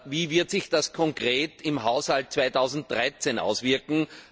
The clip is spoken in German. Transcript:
Wie wird sich das konkret im Haushalt 2013 auswirken?